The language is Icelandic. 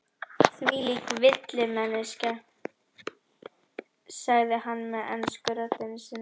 Þvílík villimennska, sagði hann með ensku röddinni sinni.